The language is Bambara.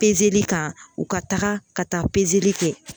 kan u ka taga ka taa kɛ